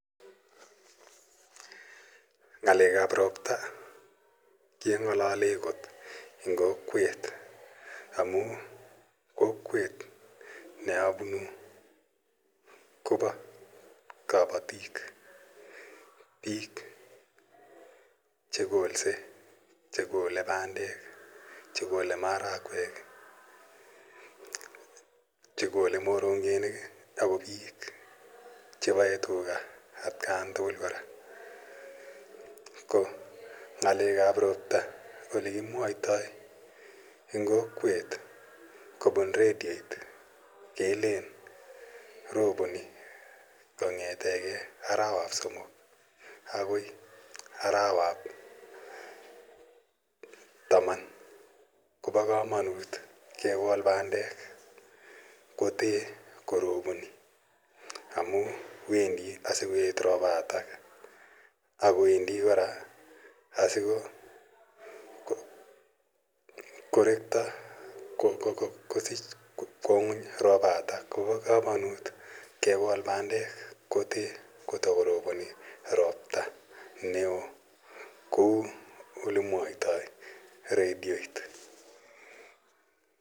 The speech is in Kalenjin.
Ng'alek ap ropta keng'alalee kot eng' kokwet amu kokwet ne apunu kopa kapatik, piik chekolse, che kole pandek, che kole marakwek, che kole morongebik ako piik che pae tuga atkan tugul kora. Ko ng'alek ap ropta ole kimwaitai eng' kokwet kopun redioit kelen roponi kong'ete arawap somok akoi arawap taman ko pa kamanit kekol pandek kote kote koroponi amu wendi asikoet ropatak ako wendi kora asiko rekta kosich kwa ng'uny ropatak ko pa kamanut kekol pandek kote ko takoroponi ropta ne oo kou ole mwaitai redioit.